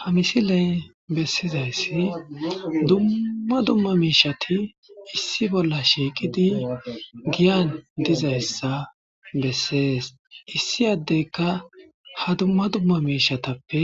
ha misiley bessizayssi dumma dumma miishati issi bolla shiiqidi giyan dizayssa bessees issi yaddeyka ha dumma dumma miishatappe